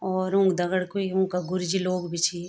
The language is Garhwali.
और उंक दगड कुई उन्का गुरूजी लोग भी छी।